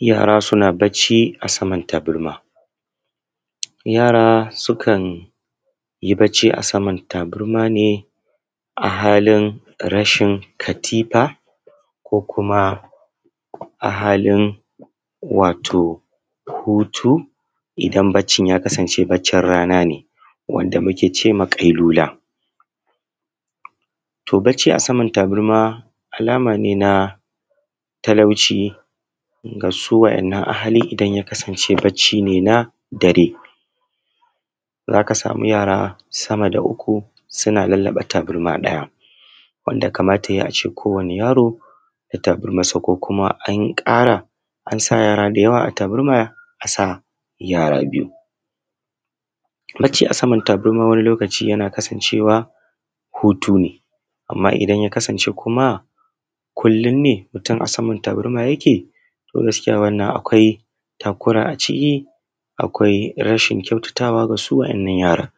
Yara suna bacci a samar tabarma. Yara sukan yi bacci ne a saman tabarma ne a hali rashin katifa ko kuma a halin wato hutu idan baccin ya kasance baccin rana ne wanda muke ce ma ƙailula. To, bacci a samar tabarma alama ce na talauci ga su waɗanna ahali idan ya kasance bacci ne na dare za ka samu yara sama da uku suna lallaba tabarma ɗaya wanda kamata ya yi a ce ko wani yaro da tabarmansa ko kuma an ƙara ansa yara da yawa a tabarma sa, yara biyu na ce a saman tabarma. Wani lokaci yana kasancewa hutu ne amma idan ya kasance kullum ne mutum a saman tabarma yake to gasikya wannan akwai takura a ciki akwai rashin kyautatawa ga su waɗannan yaran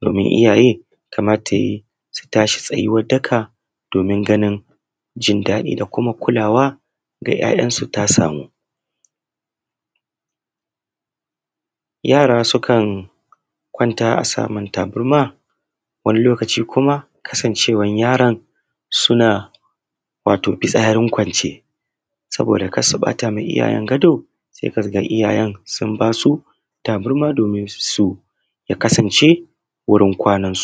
domin iyaye kamata ya yi su tashi tsaye tsayuwar daka domin ganin jin daɗi da kuma kulawa da yayan su ta samu yara sukan kwanta a saman tabarma wani lokaci kuma kasancewan yaron suna wato fitsarin kwance saobda kar su bata ma iyayen gado se kaga iyayen sun ba su tabarma domin su ya kasance wurin kwanan su.